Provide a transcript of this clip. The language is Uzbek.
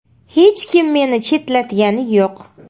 Hech kim meni chetlatgani yo‘q.